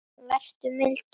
Vertu mildur.